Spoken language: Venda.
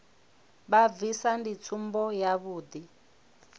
vha bvisa ndi tsumbo yavhuḓi